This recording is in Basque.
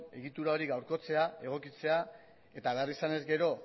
egitura hori gaurkotzea egokitzea eta behar izanez gero